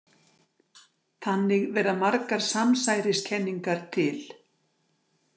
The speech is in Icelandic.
Þannig verða margar samsæriskenningar til.